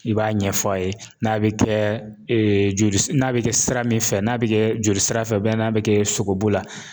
I b'a ɲɛf'a ye n'a bi kɛ joli n'a bi kɛ sira min fɛ, n'a bi kɛ joli sira fɛ n'a bi kɛ sogobu la.